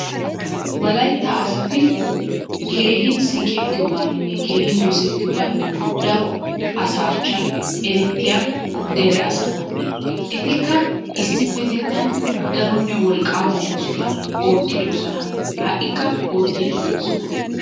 Wolaytta asatti keehiin siiqettiyogaaninne keehin dosettiyoogan dara asaa achchan erettiya dere asata. Ettikka issipetettan daronne wolqqaama oosota issipetettan oottidosona. Ha'ikka oottidi doosona.